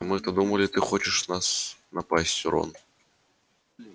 а мы-то думали ты хочешь на нас напасть рон